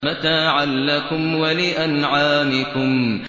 مَتَاعًا لَّكُمْ وَلِأَنْعَامِكُمْ